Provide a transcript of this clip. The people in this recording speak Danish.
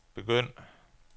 begynd